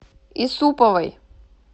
исуповой